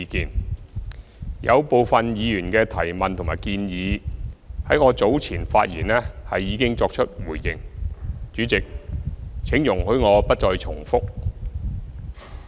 對於部分議員的提問和建議，我在早前發言時已作出回應，主席，請容許我不再重複。